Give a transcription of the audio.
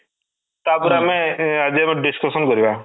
ତାପରେ ଆମେ ଆଜି ର ଆମେ discussion କରିବା